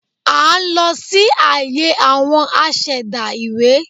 À n lọ sí àyè àwon asẹ̀dá ìwé